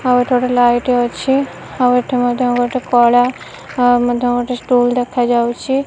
ଆଉ ଏଠି ଗୋଟେ ଲାଇଟ୍ ଅଛି ଆଉ ଏଠି ମଧ୍ୟ ଗୋଟେ କଳା ମଧ୍ୟ ଗୋଟେ ଷ୍ଟୁଲ୍ ଦେଖା ଯାଉଚି।